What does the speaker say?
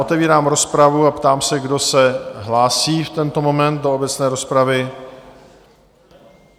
Otevírám rozpravu a ptám se, kdo se hlásí v tento moment do obecné rozpravy?